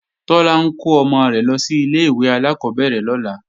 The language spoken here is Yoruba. Tọ́lá ń kó ọmọ rẹ̀ lọ sí ilé-ìwé alákọ́bẹ̀rẹ̀ lọ́la